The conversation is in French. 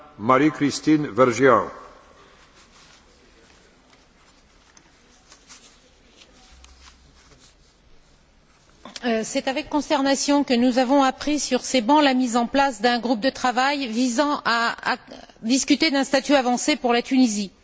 Monsieur le Président, c'est avec consternation que nous avons appris sur ces bancs la mise en place d'un groupe de travail visant à discuter d'un statut avancé pour la Tunisie.